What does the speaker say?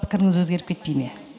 пікіріңіз өзгеріп кетпей ме